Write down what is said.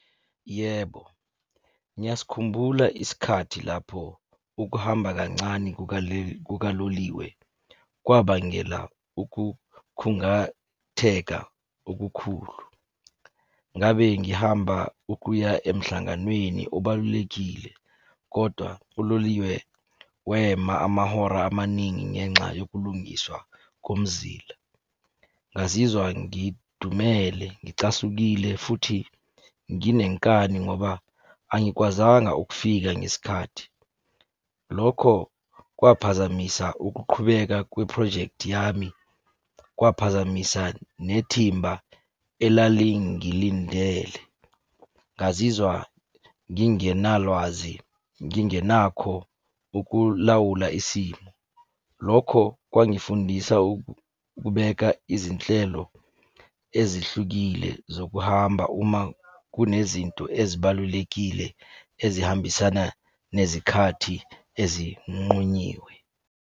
Yebo, ngiyasikhumbula isikhathi lapho ukuhamba kancane kukaloliwe kwabangela ukukhungatheka okukhulu. Ngabe ngihamba ukuya emhlanganweni obalulekile kodwa uloliwe wema amahora amaningi ngenxa yokulungiswa komzila. Ngazizwa ngidumele, ngicasukile, futhi nginenkani ngoba angikwazanga ukufika ngesikhathi. Lokho kwaphazamisa ukuqhubeka kwephrojekthi yami, kwaphazamisa nethimba elalingilindele. Ngazizwa ngingenalwazi, ngingenakho ukulawula isimo. Lokho kwangifundisa ukubeka izinhlelo ezihlukile zokuhamba uma kunezinto ezibalulekile ezihambisana nezikhathi ezinqunyiwe.